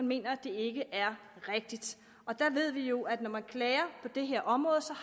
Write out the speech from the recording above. mener det er rigtigt der ved vi jo at når man klager på det her område